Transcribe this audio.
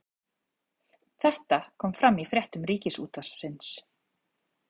Þetta kom fram í fréttum Ríkisútvarpsins